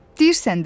Deyirsən də.